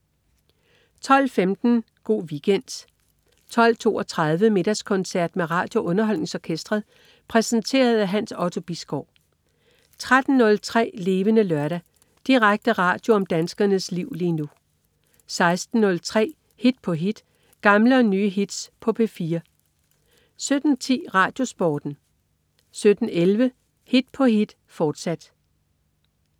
12.15 Go' Weekend 12.32 Middagskoncert med RadioUnderholdningsOrkestret. Præsenteret af Hans Otto Bisgaard 13.03 Levende Lørdag. Direkte radio om danskernes liv lige nu 16.03 Hit på hit. Gamle og nye hits på P4 17.10 RadioSporten 17.11 Hit på hit, fortsat